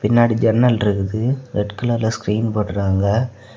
பின்னாடி ஜன்னல் இருக்குது. ரெட் கலர்ல ஸ்கிரீன் போட்டுருக்காங்க.